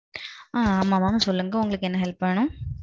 ஆ. ஆமாம் mam. சொல்லுங்க உங்களுக்கு என்ன உதவி வேணும்?